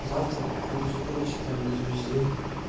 завтра походу задрочить там буду весь день